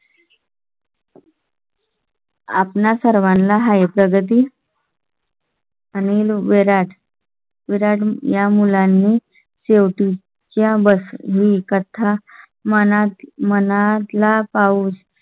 आपणा सर्वांना हे प्रगती. अनिल विराट. विराट या मुलांनी शेवटी च्या कथा मनात मनात ला पाऊस